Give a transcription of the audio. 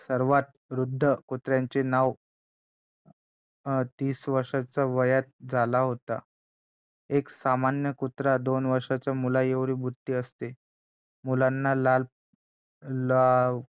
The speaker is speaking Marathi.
सर्वांत वृद्ध कुत्र्याचे नाव तीस वर्षांच्या वयात झाला होता एक सामान्य कुत्रा दोन वर्षांच्या मुलांएवढी बुद्धी असते मुलांना लाव